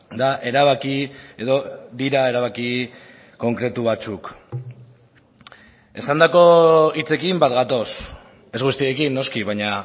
da erabaki edo dira erabaki konkretu batzuk esandako hitzekin bat gatoz ez guztiekin noski baina